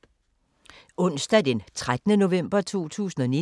Onsdag d. 13. november 2019